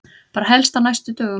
Bara helst á næstu dögum.